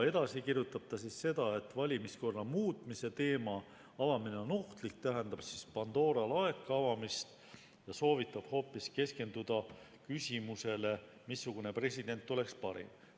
Edasi kirjutab Vahtre seda, et valimiskorra muutmise teema avamine on ohtlik, see tähendab Pandora laeka avamist, ja ta soovitab hoopis keskenduda küsimusele, missugune president oleks parim.